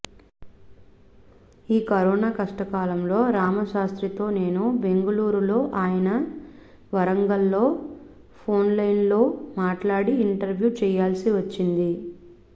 ఈ కరోనా కష్టకాలంలో రామశాస్త్రితో నేను బెంగుళూరులో ఆయన వరంగల్లో ఫోన్లోనేలో మాట్లాడి ఇంటర్వ్యూ చేయాల్సి వచ్చింది